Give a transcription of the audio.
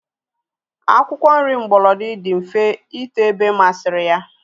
Akwụkwọ nri mgbolodi dị mfe ito ebe masịrị ya